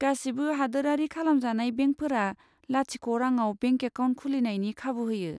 गासिबो हादोरारि खालामजानाय बेंकफोरा लाथिख' रांआव बेंक एकाउन्ट खुलिनायनायनि खाबु होयो।